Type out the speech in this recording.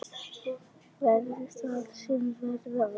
Verði það sem verða vill!